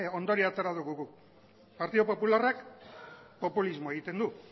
ondorioa atera dugu guk partidu popularrak populismoa egiten du